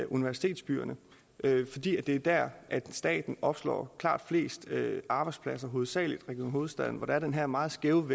universitetsbyerne fordi det er dér staten opslår klart flest arbejdspladser hovedsagelig region hovedstaden hvor der er den her meget skæve